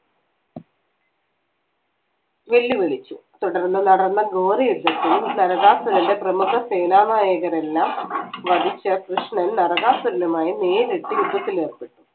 വെല്ലുവിളിച്ചു തുടർന്ന് നടന്ന ഘോരയുദ്ധത്തിൽ നരകാസുരന്റെ പ്രമുഖസേനാ നായകരെല്ലാം വധിച്ച കൃഷ്ണൻ നരകാസുരനുമായി നേരിട്ട് യുദ്ധത്തിൽ ഏർപ്പെട്ടു